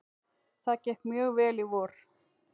Það gekk mjög vel í vor.